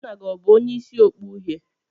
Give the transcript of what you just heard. Nna gi o bu onye isi okpu uhie?